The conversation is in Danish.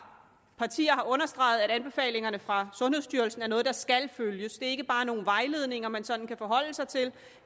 understreget at anbefalingerne fra sundhedsstyrelsen er noget der skal følges ikke bare nogle vejledninger man sådan kan forholde sig til